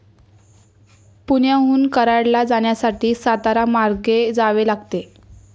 पुण्याहून कराडला जाण्यासाठी, सातारा मार्गे जावे लागते.